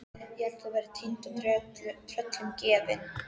Ég hélt að þú værir týnd og tröllum gefin.